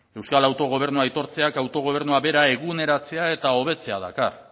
euskal autogobernua aitortzeak autogobernua bera eguneratzea eta hobetzea dakar